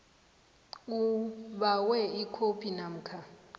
ubawe ikhophi namkha